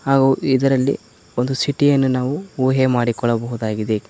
ಹಾಗು ಇದರಲ್ಲಿ ಒಂದು ಸಿಟಿಯನ್ನು ನಾವು ಊಹೆ ಮಾಡಿಕೊಳ್ಳಬಹುದಾಗಿದೆ.